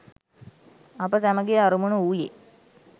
අප සැමගේ අරමුණ වූයේ